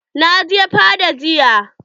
Na je fada jiya.